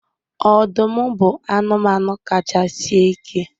Ọdụm bụ anụmanụ kacha sie ike